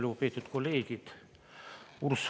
Lugupeetud kolleegid!